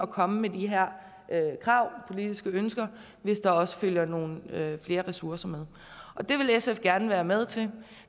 komme med de her krav politiske ønsker hvis der også følger nogle flere ressourcer med det vil sf gerne være med til